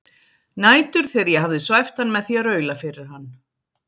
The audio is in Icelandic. Nætur þegar ég hafði svæft hann með því að raula fyrir hann